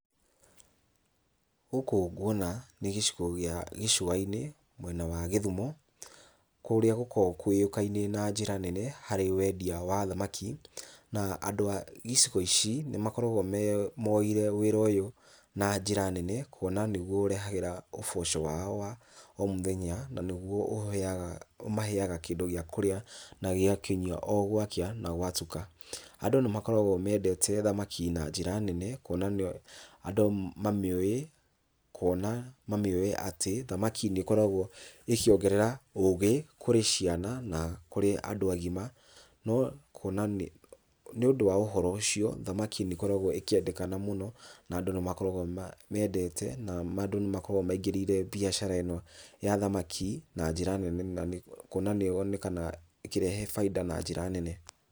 Gũkũ nguona nĩ gĩcigo gĩa gĩcũa-inĩ mwena wa Gĩthumo, kũrĩa gũkoragwo kũĩkaine na njĩra nene harĩ wendia wa thamaki. Na andũ a icigo ici nĩmakoragwo me moeire wĩra ũyũ na njĩra nene, kuona nĩguo ũrehagĩra ũboco wao wa o mũthenya na nĩguo ũheaga ũmaheaga kĩndũ gĩa kũrĩa na gĩa kũnyua o gwakĩa na gwatuka. Andũ nĩmakoragwo mendete thamaki na njĩra nene, kuona nĩ andũ mamĩũĩ kuona mamĩũĩ atĩ thamaki nĩkoragwo ĩkĩongerera ũgĩ kũrĩ ciana na kũrĩ andũ agima, no kuona nĩ nĩũndũ wa ũhoro ũcio, thamaki nĩkoragwo ĩkĩendekana mũno na andũ nĩmakoragwo mamĩendete na andũ nĩmakoragwo maingĩrĩire mbiacara ĩno ya thamaki na njĩra nene, na nĩ kuona nĩyonekanaga ĩkĩrehe bainda na njĩra nene.